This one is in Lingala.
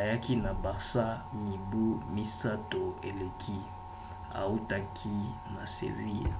ayaki na barça mibu misato eleki autaki na seville